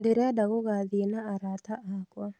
Ndĩrenda gũgathiĩ na arata akwa.